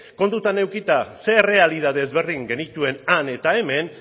kontutan edukita zein errealitate ezberdin genituen han eta hemen